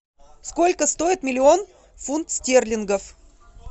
сколько стоит миллион фунт стерлингов